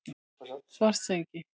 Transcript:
Svartsengi